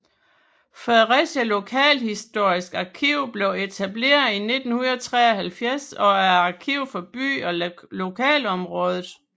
Fredericia Lokalhistorisk Arkiv blev etableret i 1973 og er arkiv for byen og lokalområdet